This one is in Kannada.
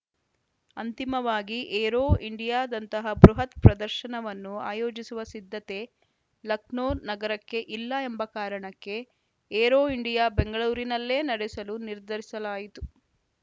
ಅಂತಿಮವಾಗಿ ಏರೋ ಇಂಡಿಯಾದಂತಹ ಬೃಹತ್‌ ಪ್ರದರ್ಶನವನ್ನು ಆಯೋಜಿಸುವ ಸಿದ್ಧತೆ ಲಕ್ನೋ ನಗರಕ್ಕೆ ಇಲ್ಲ ಎಂಬ ಕಾರಣಕ್ಕೆ ಏರೋ ಇಂಡಿಯಾ ಬೆಂಗಳೂರಿನಲ್ಲೇ ನಡೆಸಲು ನಿರ್ಧರಿಸಲಾಯಿತು